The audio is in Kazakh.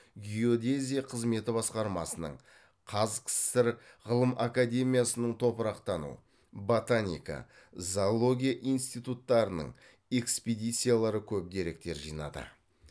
геодезия қызметі басқармасының қаз ксср ғылым академиясының топырақтану ботаника зоология институттарының экспедициялары көп деректер жинады